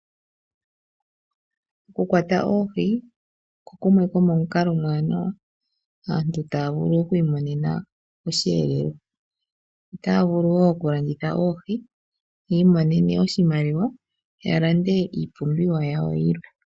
Oku kwata oohi oko kumwe komomikalo omowanawa, aantu taya vulu okwiimonena oshi yeelelwa. Otaya vulu wo oku landitha oohi yiimonene oshimaliwa yiilandele iipumbiwa yawo yilwe.